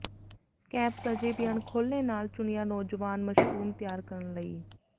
caps ਅਜੇ ਵੀ ਅਣਖੋਲ੍ਹੇ ਨਾਲ ਚੁਣਿਆ ਨੌਜਵਾਨ ਮਸ਼ਰੂਮ ਤਿਆਰ ਕਰਨ ਲਈ